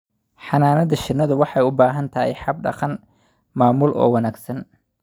Xannaanada shinnidu waxay u baahan tahay hab-dhaqan maamul oo wanaagsan.